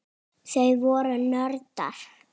Þau voru nördar.